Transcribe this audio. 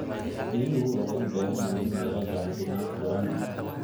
Riyuhu waxay u baahan yihiin meelo daaqsimeed furan.